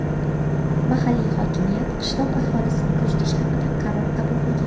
Mahalliy hokimiyat qishloq aholisini ko‘chirish haqida qaror qabul qilgan.